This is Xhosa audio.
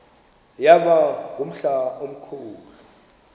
yaba ngumhla omkhulu